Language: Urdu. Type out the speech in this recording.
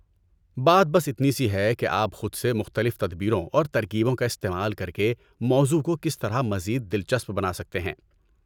بات بس اتنی سی ہے کہ آپ خود سے مختلف تدبیروں اور ترکیبوں کا استعمال کر کے موضوع کو کس طرح مزید دلچسپ بنا سکتے ہیں۔